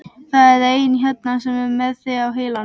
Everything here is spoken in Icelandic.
Það er einn hérna sem er með þig á heilanum.